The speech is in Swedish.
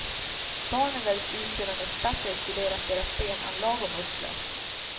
Barnen väljs ut sedan experter studerat deras benanlag och muskler.